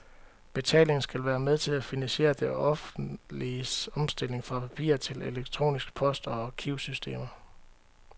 Betalingen skal være med til at finansiere det offentliges omstilling fra papir til elektronisk post og arkivsystemer.